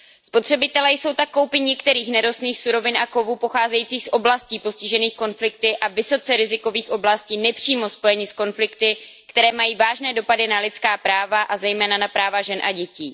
Spotřebitelé jsou tak koupí některých nerostných surovin a kovů pocházejících z oblastí postižených konflikty a vysoce rizikových oblastí nepřímo spojeni s konflikty, které mají vážné dopady na lidská práva, a zejména na práva žen a dětí.